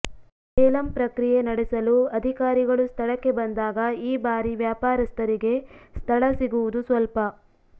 ಏಲಂ ಪ್ರಕ್ರಿಯೆ ನಡೆಸಲು ಅಧಿಕಾರಿಗಳು ಸ್ಥಳಕ್ಕೆ ಬಂದಾಗ ಈ ಬಾರಿ ವ್ಯಾಪಾರಸ್ಥರಿಗೆ ಸ್ಥಳ ಸಿಗುವುದು ಸ್ವಲ್ಪ